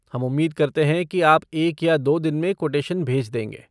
हम उम्मीद करते हैं कि आप एक या दो दिन में कोटेशन भेज देंगे।